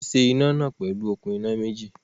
Wọ́n ṣe iná náà pẹ̀lú okùn iná méjì